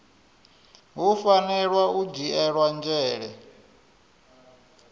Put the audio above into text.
hu fanela u dzhielwa nzhele